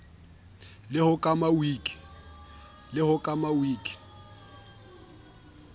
le ho e kama wiki